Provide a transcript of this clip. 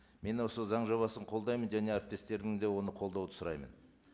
мен осы заң жобасын қолдаймын және әріптестерімді де оны қолдауды сұраймын